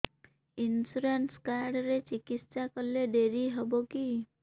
insurance card ରେ ଚିକିତ୍ସା କଲେ ଡେରି ହବକି